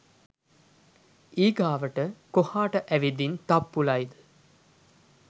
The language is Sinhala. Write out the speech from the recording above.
ඊගාවට කොහාට ඇවිදින් තප්පුලයිද